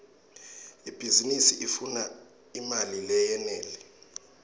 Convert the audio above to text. ibhizinisi ifuna imali leyenele